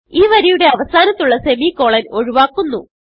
ഈ വരിയുടെ അവസാനത്തുള്ള സെമിക്കോളൻ ഒഴുവാക്കുന്നു